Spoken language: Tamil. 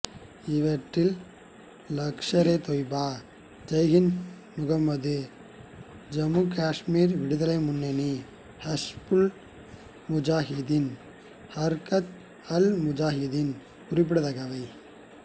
இவற்றில் லஷ்கர்ஏதொய்பா ஜெய்ஷ்ஏமுகம்மது சம்மு காசுமீர் விடுதலை முன்னணி ஹிஸ்புல் முஜாஹிதீன் ஹர்கத்அல்முஜாஹிதீன் குறிப்பிடத்தக்கவை